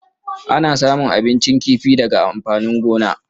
Ana samun abincin kifi daga amfanin gona.